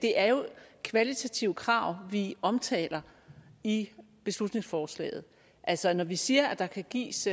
det er jo kvalitative krav vi omtaler i beslutningsforslaget altså når vi siger at der kan gives